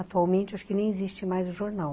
Atualmente, acho que nem existe mais o jornal.